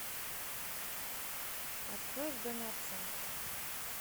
открой в доме отца